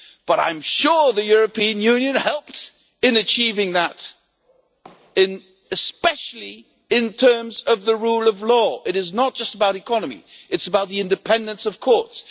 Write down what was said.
But I am sure the European Union helped in achieving that, especially in terms of the rule of law. It is not just about the economy it is about the independence of courts.